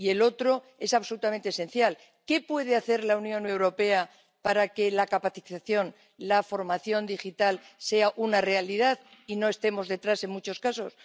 Y la otra es absolutamente esencial ¿Qué puede hacer la Unión Europea para que la capacitación, la formación digital sea una realidad y no estemos detrás en muchos casos?